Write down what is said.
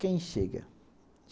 Quem chega?